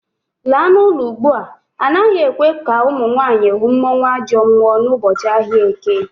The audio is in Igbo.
Laa n'ulo ugbua! Anaghị ekwe ka ụmụnwaanyị hụ mmụọnwAjọmmụọ n'ụbọchị ahịa Eke